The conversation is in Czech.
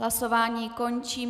Hlasování končím.